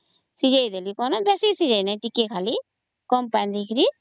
ସିଝେଇଦେଲି ବେଶୀ ନାଇଁ ଟିକେ କମ ପାଣି ଦେଇକରି